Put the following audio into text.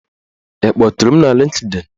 Ị kpọtụrụm na Lịnkdịn?